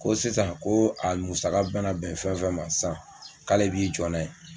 Ko sisan ko a musaka bɛna bɛn fɛn fɛn ma sisan k'ale b'i jɔ n'a ye